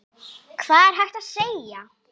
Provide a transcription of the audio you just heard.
Hvað er hægt að segja?